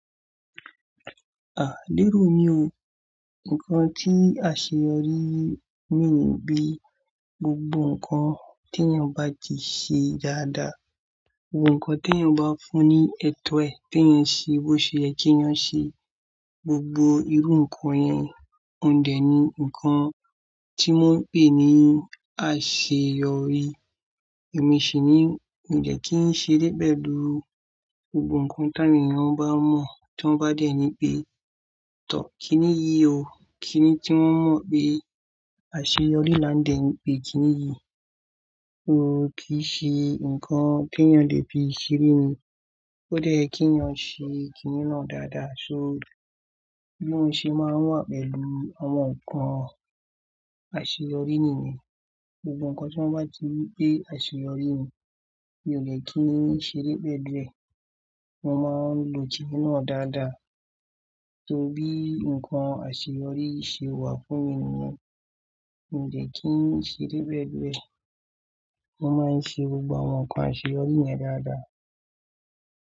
Àá, lérò mi o. Ǹkan tí àṣeyọrí ní ni bí gbogbo ǹkan tí ènìyàn bá ti ṣe dáadáa, gbogbo ǹkan tí ènìyàn bá fún ní ètó ẹ̀ tí ènìyàn ṣe, bó ṣe yẹ kí ènìyàn ṣe, gbogbo irú ǹkan yẹn, òun dẹ̀ ni ǹkan tí wọ́n ń pè ní àṣeyọrí. Èmi sì nìyí, mí ò lè kí n ṣe débẹ̀ lórí gbogbo ǹkan tí ènìyàn bá mọ̀, tí wọ́n bá dẹ̀ ni pé, tọ́ kíní yí o, kíní tí wọ́n mọ̀ pé àṣeyọrí la dẹ̀ pè kíní yí. O kì í ṣe ǹkan tí ènìyàn lè fi ṣeré ni. Ó dẹ̀ yẹ kí ènìyàn ṣe kíní náà dáadáa, o bí mo ṣe máa wà pẹ̀lú àwọn ǹkan àṣeyọrí nìyẹn. Gbogbo ǹkan tí wọ́n bá ti pé àṣeyọrí ni, mi ò lè kí n ṣeré pẹ̀lú ẹ Mo máa lo kíní náà dáadáa inú náà dáadáa. Torí bí ǹkan àṣeyọrí ṣe wà fún ènìyàn, mi ò lè kí n ṣeré pẹ̀lú ẹ Mo máa ń ṣe gbogbo àwọn ǹkan àṣeyọrí yẹn dáadáa.